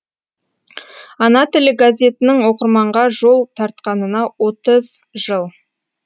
ана тілі газетінің оқырманға жол тартқанына отыз жыл